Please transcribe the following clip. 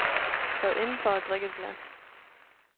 Træd indenfor og drik et glas.